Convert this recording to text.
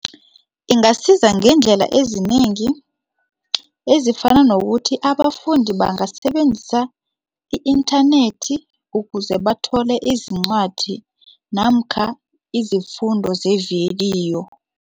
Ingasiza ngeendlela ezinengi ezifana nokuthi abafundi bangasebenzisa i-inthanethi ukuze bathole izincwadi namkha izifundo zevidiyo.